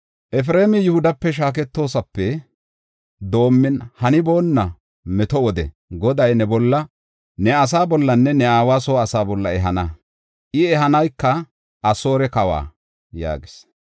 Efreemi Yihudape shaaketoosape doomin haniboonna meto wode Goday ne bolla, ne asaa bollanne ne aawa soo asaa bolla ehana; I ehanayka Asoore kawa” yaagis.